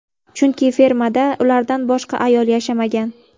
Chunki fermada ulardan boshqa ayol yashamagan.